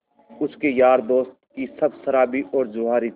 उसके यार दोस्त भी सब शराबी और जुआरी थे